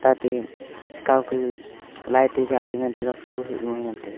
ate chi kaw light te za ngan tai ga.